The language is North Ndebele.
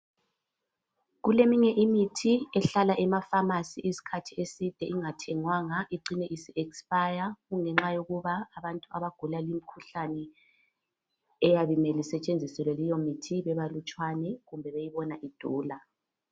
kuleminye imithi ehlala emaphamarcy isikhathi eside ingathengwanga icine isi expire ngenxa yokuba abantu abagula li mikhuhlane eyabe imele isetshenziselwe leyo mithi bebalutshwane beyibona idula